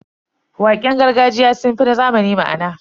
Waƙen gargajiya sun fi na zamani ma'ana.